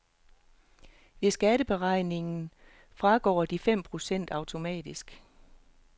Ved skatteberegningen fragår de fem procent automatisk.